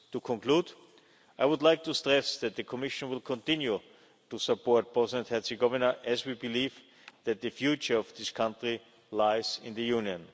To conclude, I would like to stress that the Commission will continue to support Bosnia and Herzegovina as we believe that the future of this country lies in the Union.